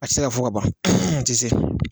A tɛ se ka fo ka ban a tɛ se